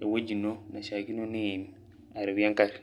ewoji ino naishaakino niim arewue eng'ari.